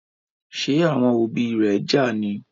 Ṣe àwọn òbí ré já ní?